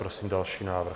Prosím další návrh.